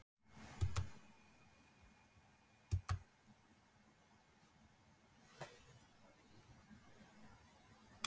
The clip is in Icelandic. Ég skammaðist mín bara svo ferlega.